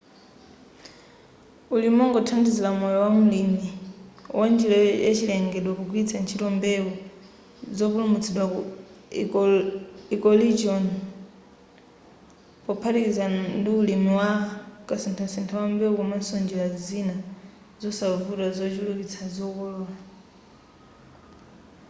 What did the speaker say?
ulimi ongothandizira moyo wa mlimi wa njira yachilengedwe pogwiritsa ntchito mbewu zopulumutsidwa ku ecoregion pophatikiza ndi ulimi wa kasinthasintha wa mbewu komanso njira zina zosavuta zochulukitsa zokolola